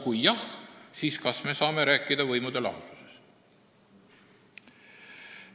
Kui jah, siis kas me saame rääkida võimude lahususest?